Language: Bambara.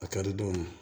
A ka di dɔw ye